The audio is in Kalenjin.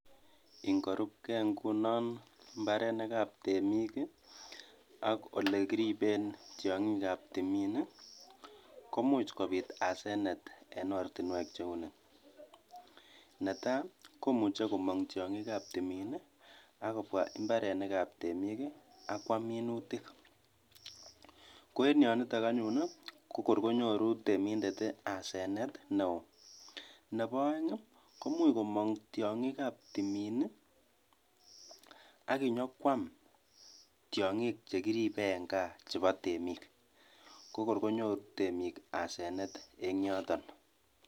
Ingorubke ng'unon imbarenikab temiik ak olekiriben tiong'ikab timiin komuch kobit asenet en ortinwek cheuni, netaa komuche komong tiong'ikab timiin ak kobwa imbarenikab temiik ak kwam minutik, ko en yonitok anyun ko kor konyoru temindet asenet neoo, Nebo oeng ii komuch komong tiong'ikab timiin ak inyokwam tiong'ik chekiribe en Kaa chebo temiik ko kor konyoru temiik asenet en yoton.